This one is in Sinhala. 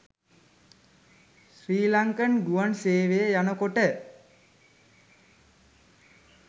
ශ්‍රී ලන්කන් ගුවන් සේවයේ යනකොට